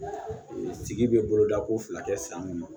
Sigi bɛ boloda ko fila kɛ san kɔnɔ